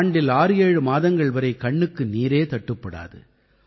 ஆண்டில் 67 மாதங்கள் வரை கண்ணுக்கு நீரே தட்டுப்படாது